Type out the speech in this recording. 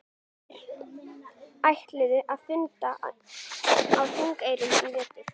Þeir ætluðu að funda á Þingeyrum í vetur.